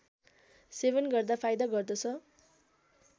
सेवन गर्दा फाइदा गर्दछ